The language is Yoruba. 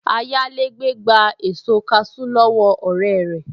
Ayálégbé gba èso kaṣú lọ́wọ́ ọ̀rẹ́ rẹ̀